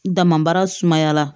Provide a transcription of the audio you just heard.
Damabara sumaya la